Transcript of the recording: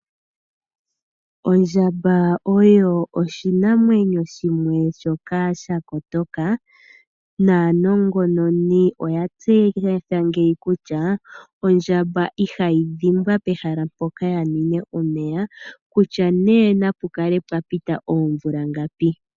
Ondjamba oyo oshinamwenyo shimwe shoka shakotoka, naanongononi oya tseyitha ngeyi kutya ondjamba ihayi dhimbwa pehala mpoka ya nwine omeya kutya napukale pwapita oomvula ngapi.